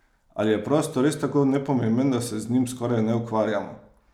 Ali je prostor res tako nepomemben, da se z njim skoraj ne ukvarjamo?